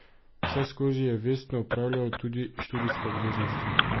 Vseskozi je vestno opravljal tudi študijske obveznosti.